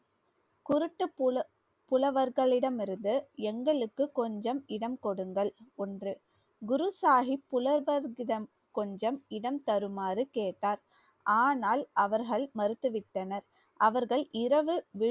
குருட்டு புல~ புலவர்ககளிடமிருந்து எங்களுக்கு கொஞ்சம் இடம் கொடுங்கள் ஒன்று குரு சாஹிப் புலவர்களிடம் கொஞ்சம் இடம் தருமாறு கேட்டார் ஆனால் அவர்கள் மறுத்துவிட்டனர். அவர்கள் இரவு